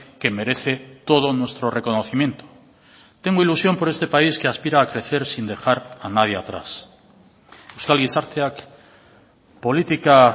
que merece todo nuestro reconocimiento tengo ilusión por este país que aspira a crecer sin dejar a nadie atrás euskal gizarteak politika